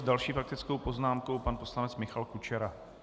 S další faktickou poznámkou pan poslanec Michal Kučera.